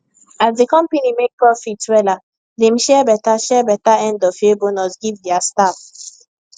as the company make profit wella dem share better share better endofyear bonus give their staff